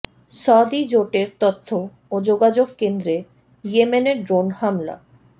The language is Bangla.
সৌদি জোটের তথ্য ও যোগাযোগ কেন্দ্রে ইয়েমেনের ড্রোন হামলা